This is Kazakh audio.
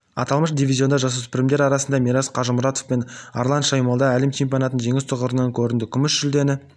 аталмыш дивизионында жасөспірімдер арасында мирас қажмұратов мен арлан шаймолда әлем чемпионатының жеңіс тұғырынан көрінді күміс жүлдені